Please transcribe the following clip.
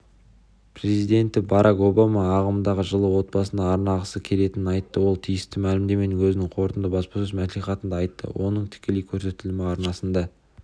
президенті барак обама ағымдағы жылды отбасына арнағысы келетінін айтты ол тиісті мәлімдемені өзінің қорытынды баспасөз мәслихатында айтты оның тікелей көрсетілімі арнасында